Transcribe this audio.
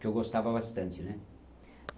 Que eu gostava bastante, né?